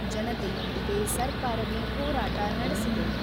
ಜನತೆಯೊಂದಿಗೆ ಸರ್ಕಾರವು ಹೋರಾಟ ನಡೆಸಿದೆ.